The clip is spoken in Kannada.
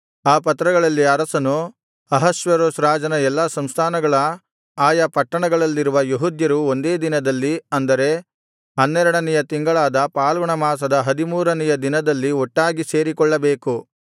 ಆ ಪತ್ರಗಳಲ್ಲಿ ಅರಸನು ಅಹಷ್ವೇರೋಷ್ ರಾಜನ ಎಲ್ಲಾ ಸಂಸ್ಥಾನಗಳ ಆಯಾ ಪಟ್ಟಣಗಳಲ್ಲಿರುವ ಯೆಹೂದ್ಯರು ಒಂದೇ ದಿನದಲ್ಲಿ ಅಂದರೆ ಹನ್ನೆರಡನೆಯ ತಿಂಗಳಾದ ಫಾಲ್ಗುಣಮಾಸದ ಹದಿಮೂರನೆಯ ದಿನದಲ್ಲಿ ಒಟ್ಟಾಗಿ ಸೇರಿಕೊಳ್ಳಬೇಕು